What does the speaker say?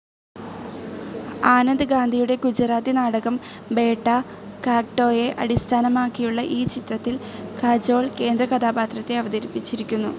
ആനന്ദ് ഗാന്ധിയുടെ ഗുജറാത്തി നാടകം ബേട്ട, കാഗ്ടോയെ അടിസ്ഥാനമാക്കിയുളള ഈ ചിത്രത്തിൽ കജോൾ കേന്ദ്രകഥാപാത്രത്തെ അവതരിപ്പിച്ചിരിക്കുന്നു.